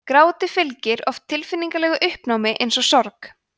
gráti fylgir oft tilfinningalegu uppnámi eins og sorg